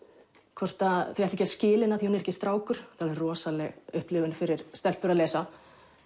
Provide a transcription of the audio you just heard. hvort þau ætli ekki að skila henni af því hún er ekki strákur þetta rosaleg upplifun fyrir stelpur að lesa